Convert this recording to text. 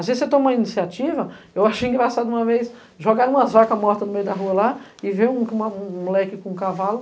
Às vezes, você toma uma iniciativa, eu achei engraçado uma vez jogaram umas vacas mortas no meio da rua lá e veio uma, um moleque com um cavalo